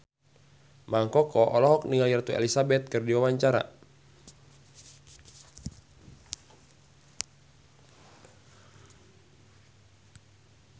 Mang Koko olohok ningali Ratu Elizabeth keur diwawancara